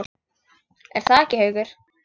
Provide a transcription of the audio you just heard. Er það ekki, Haukur?